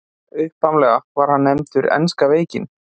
Upphaflega var hann nefndur enska veikin.